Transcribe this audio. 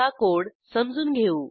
आता कोड समजून घेऊ